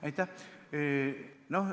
Aitäh!